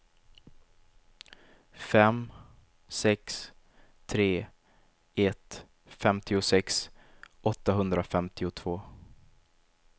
fem sex tre ett femtiosex åttahundrafemtiotvå